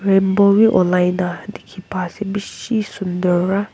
Rainbow bhi ulaina dekhe pa ase beshi sundur pra.